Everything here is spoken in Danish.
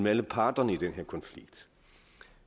alle parterne i den her konflikt